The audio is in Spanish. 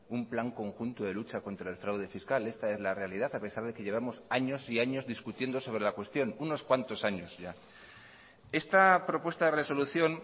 un plan conjunto de lucha contra el fraude fiscal esta es la realidad a pesar de que llevamos años y años discutiendo sobre la cuestión unos cuantos años ya esta propuesta de resolución